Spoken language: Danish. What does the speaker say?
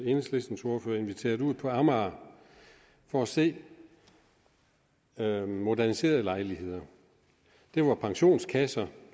enhedslistens ordfører inviteret ud på amager for at se nogle moderniserede lejligheder de var pensionskasseejede